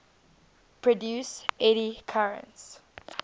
produce eddy currents